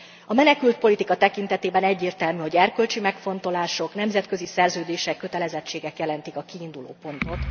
A menekültpolitika tekintetében egyértelmű, hogy erkölcsi megfontolások, nemzetközi szerződések, kötelezettségek jelentik a kiindulópontot.